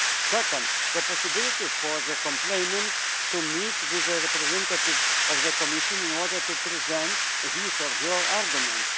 second, the possibility for the complainant to meet the representatives of the Commission in order to present his her argument